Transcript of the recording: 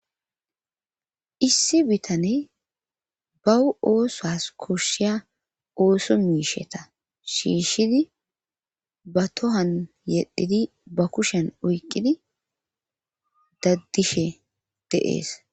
issi bitane bawu oosas koshshiya ooso miisheta shiishshidi ba tohan yedhidi ba kushen oyqqidi daddishe de'ees